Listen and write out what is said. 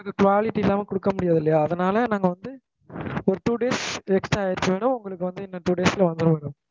அது quality இல்லாம குடுக்க முடியாது இல்லயா அதுனால நாங்க வந்து ஒரு two days extra ஆகிடுச்சு madam உங்களுக்கு வந்து இன்னும் two days ல வந்துடும் madam